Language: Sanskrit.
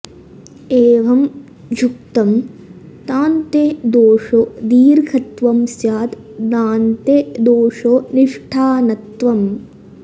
एवं ह्युक्तम् तान्ते दोषो दीर्घत्वं स्याद् दान्ते दोषो निष्ठानत्वम्